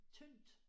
Tyndt